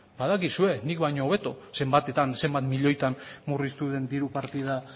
badakizue nik baino hobeto zenbatetan zenbat milioietan murriztu den diru partida